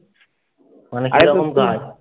ওখানে কাজ করব কাজ।